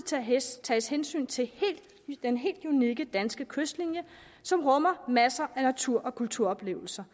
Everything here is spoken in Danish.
tages hensyn til den helt unikke danske kystlinje som rummer masser af natur og kulturoplevelser